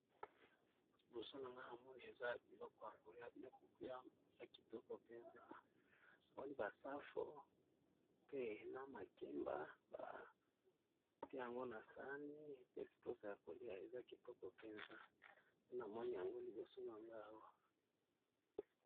Liboso na nga namoni eza biloko ya kolea bilok na kitoko mpenza awali basafo pe na makemba bate yango na sani pe siposo ya kolela eza kitoko mpenza ena moni yango liboso na nga awa.